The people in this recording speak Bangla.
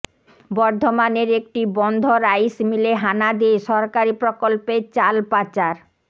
বর্ধমানের একটি বন্ধ রাইসমিলে হানা দিয়ে সরকারি প্রকল্পের চাল পাচার